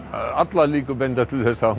allar líkur benda til þess að